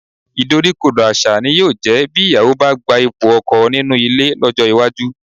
Ìdoríkodò àṣà ni yóò jẹ́ bí ìyàwó bá gba ipò ọkọ nínú ilé lọ́jọ́ iwájú